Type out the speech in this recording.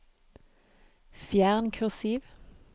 Fjern kursiv